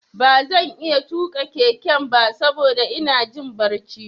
Ba zan iya tuƙa keken ba saboda ina jin barci.